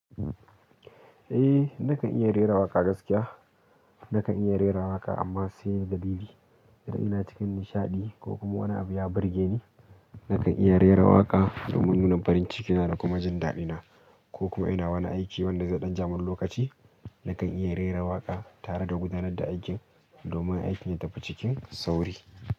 Eh, nakan iya rera waƙa gaskiya. Nakan iya rera waƙa amma sai da dalili idan ina cikin nishaɗi ko kuma wani abu ya birgeni nakan iya rera waƙa domin nuna farin ciki na da kuma jin daɗina ko kuma ina wani aiki wanda zai ɗan jamin lokaci, nakan iya rera waƙa tare da gudanar da aikin domin aikin ya tafi cikin sauri.